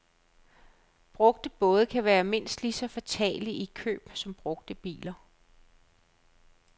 Brugte både kan være mindst lige så fatale i køb som brugte biler.